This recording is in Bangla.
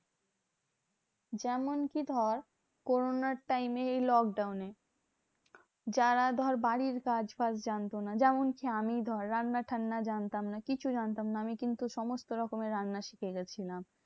যেমন কি ধর? corona র time এ এই lockdown এ যারা ধর বাড়ির কাজ ফাজ জানতো না। যেমন ধর আমিই ধর রান্না ঠান্না জানতাম না কিছু জানতাম না। আমি কিন্তু সমস্ত রকমের রান্না শিখে গেছিলাম।